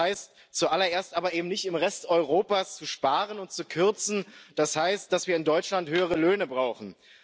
Das heißt zuallererst aber eben nicht, im Rest Europas zu sparen und zu kürzen, das heißt dass wir in Deutschland höhere Löhne brauchen.